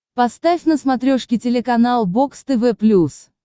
поставь на смотрешке телеканал бокс тв плюс